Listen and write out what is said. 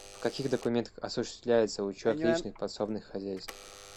в каких документах осуществляется учет личных подсобных хозяйств